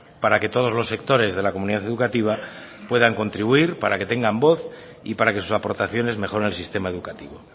para que todos los sectores de la comunidad educativa puedan contribuir para que tengan voz y para que sus aportaciones mejoren el sistema educativo